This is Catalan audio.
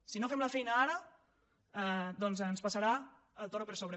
si no fem la feina ara doncs ens passarà el toro per sobre